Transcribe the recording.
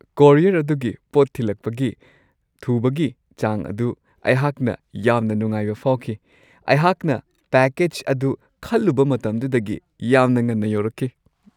Courier ꯑꯗꯨꯒꯤ ꯄꯣꯠ ꯊꯤꯜꯂꯛꯄꯒꯤ ꯊꯨꯕꯒꯤ ꯆꯥꯡ ꯑꯗꯨ ꯑꯩꯍꯥꯛꯅ ꯌꯥꯝꯅ ꯅꯨꯡꯉꯥꯏꯕ ꯐꯥꯎꯈꯤ ꯫ ꯑꯩꯍꯥꯛꯅ ꯄꯦꯀꯦꯖ ꯑꯗꯨ ꯈꯜꯂꯨꯕ ꯃꯇꯝꯗꯨꯗꯒꯤ ꯌꯥꯝꯅ ꯉꯟꯅ ꯌꯧꯔꯛꯈꯤ ꯫